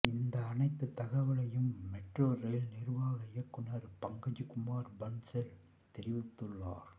இந்த அனைத்து தகவலையும் மெட்ரோ ரெயில் நிர்வாக இயக்குனர் பங்கஜ்குமார் பன்சால் தெரிவித்துள்ளார்